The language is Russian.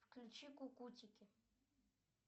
включи кукутики